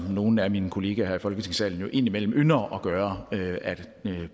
nogle af mine kollegaer i folketingssalen jo indimellem ynder at gøre